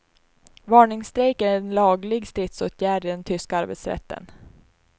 Varningsstrejk är en laglig stridsåtgärd i den tyska arbetsrätten.